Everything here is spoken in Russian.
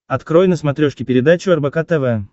открой на смотрешке передачу рбк тв